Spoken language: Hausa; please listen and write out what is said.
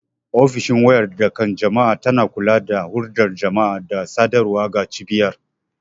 Ofishin wayar da kan jama'a tana kula da hulɗar jama'a da sadarwa ga cibiyar.